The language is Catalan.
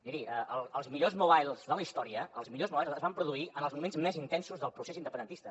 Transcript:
miri els millors mobile de la història els millors mobile es van produir en els moments més intensos del procés independentista